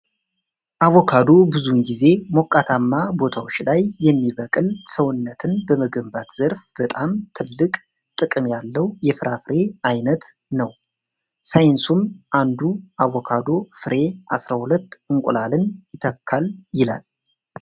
አቮቻዶ ብዙውን ጊዜ ሞቃታማ ቦታዎች ላይ የሚበቅል ሰውነትን በመገንባት ዘርፍ በጣም ትልክ ጥቅም ያለውየፍራፍሬ አይነት ነው። ሳይንሱም አንዱ አቮካዶ ፍሬ 12 እንቁላልን ይተካል ይላል።